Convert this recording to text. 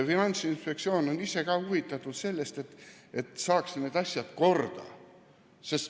Finantsinspektsioon on ka ise huvitatud sellest, et need asjad saaksid korda.